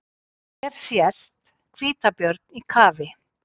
Hér sést hvítabjörn í kafi.